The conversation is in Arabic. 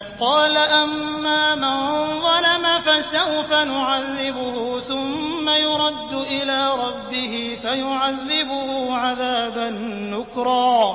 قَالَ أَمَّا مَن ظَلَمَ فَسَوْفَ نُعَذِّبُهُ ثُمَّ يُرَدُّ إِلَىٰ رَبِّهِ فَيُعَذِّبُهُ عَذَابًا نُّكْرًا